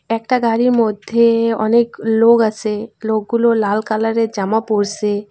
একটা গাড়ির মধ্যে অনেক লোগ আসে লোকগুলো লাল কালারের জামা পরসে।